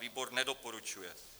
Výbor nedoporučuje.